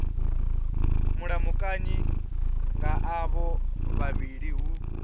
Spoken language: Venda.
mulamukanyi nga avho vhavhili hu